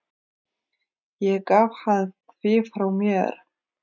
Ég gaf hann því frá mér.